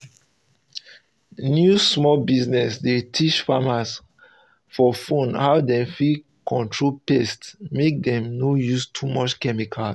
new small business dey teach farmers for phone how dem fit control pest mek dem no use too much chemicals